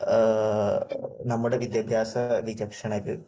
നമ്മുടെ വിദ്യാഭ്യാസ വിജക്ഷണര്